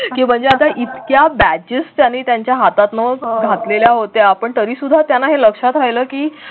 की म्हणजे आता इतक्या batches त्यानी त्यांच्या हातातून घातलेल्या होत्या पण तरी सुद्धा त्यांना हे लक्षात राहील की